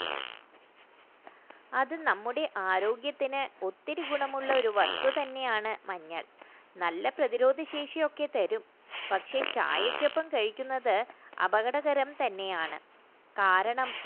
അത് നമ്മുടെ ആരോഗ്യത്തിന് ഒത്തിരി ഗുണമുള്ള വസ്തുതന്നെയാണ് നല്ല പ്രതിരോധശേഷി ഒക്കെ തരും പക്ഷേ ചായക്കൊപ്പം കഴിക്കുന്നത് അപകടകരം തന്നെയാണ് കാരണം